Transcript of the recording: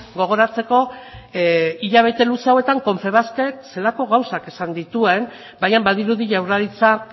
gogoratzeko hilabete luze hauetan confebaskek zelako gauzak esan dituen baina badirudi jaurlaritzak